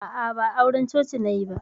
A'a, ba auran coci nayi ba.